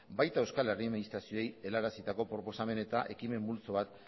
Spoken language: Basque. baita euskal herri administrazioei helarazitako proposamen eta ekimen multzo bat